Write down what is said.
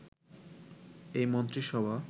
এই মন্ত্রিসভা